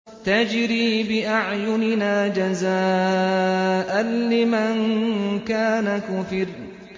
تَجْرِي بِأَعْيُنِنَا جَزَاءً لِّمَن كَانَ كُفِرَ